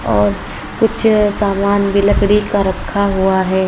और कुछ सामान भी लकड़ी का रखा हुआ है।